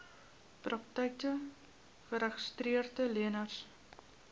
praktyke geregistreede leners